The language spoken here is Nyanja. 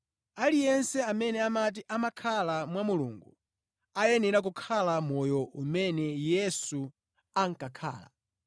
Aliyense amene amati amakhala mwa Mulungu, ayenera kukhala moyo umene Yesu ankakhala.